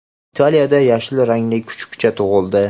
Italiyada yashil rangli kuchukcha tug‘ildi.